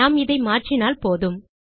நாம் இதை மாற்றினால் போதும்